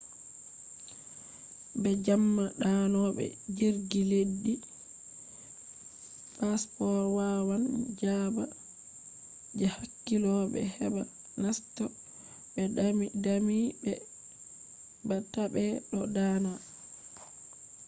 be jamma danobe jirgi leddi passports wawan jaba je hakkilobe heba naseto be dami be ba tabe do dana